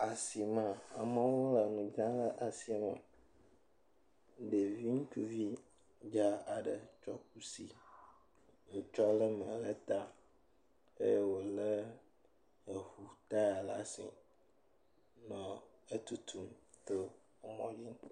Asime. Amewo le nu dzram le asime. Ɖevi ŋutsuvi dza aɖe tsɔ kusi, wotsɔ le nua ɖe ta eye wole eŋu taya ɖe asi nɔ atutum to mɔdzi.